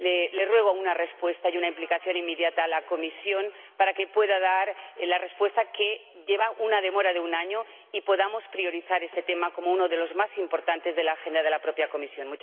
Le ruego una respuesta y una implicación inmediata a la Comisión para que pueda dar la respuesta que lleva una demora de un año y podamos priorizar este tema como uno de los más importantes de la agenda de la propia Comisión.